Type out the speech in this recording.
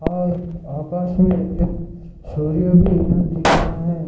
और आकाशमे एक सूर्य भी यहाँ दिख रहा है।